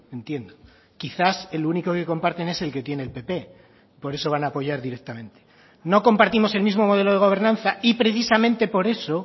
entiendo quizás el único que comparten es el que tiene el pp por eso van a apoyar directamente no compartimos el mismo modelo de gobernanza y precisamente por eso